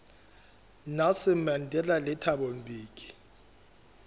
nelson mandela le thabo mbeki